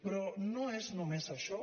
però no és només això